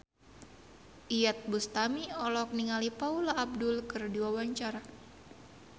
Iyeth Bustami olohok ningali Paula Abdul keur diwawancara